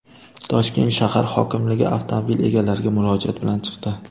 Toshkent shahar hokimligi avtomobil egalariga murojaat bilan chiqdi .